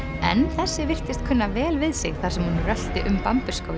en þessi virtist kunna vel við sig þar sem hún rölti um